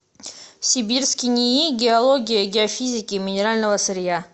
сибирский нии геологии геофизики и минерального сырья